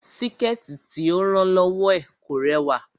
Síkẹ̀tí tí ó rán lọ́wọ́ ẹ̀ kò rẹwà